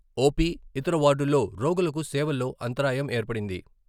OP, ఇతర వార్డుల్లో రోగులకు సేవల్లో అంతరాయం ఏర్పడింది.